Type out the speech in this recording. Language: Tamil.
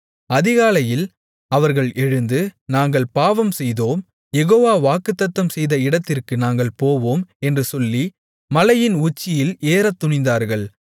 அதிகாலையில் அவர்கள் எழுந்து நாங்கள் பாவம்செய்தோம் யெகோவா வாக்குத்தத்தம்செய்த இடத்திற்கு நாங்கள் போவோம் என்று சொல்லி மலையின் உச்சியில் ஏறத்துணிந்தார்கள்